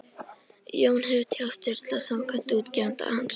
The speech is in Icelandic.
Jón hefur tjáð Sturlu að samkvæmt útgefanda hans